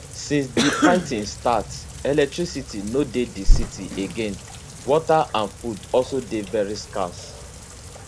since di fighting start electricity no dey di city again water and food also dey very scarce